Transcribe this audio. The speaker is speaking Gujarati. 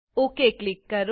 ઓક ક્લિક કરો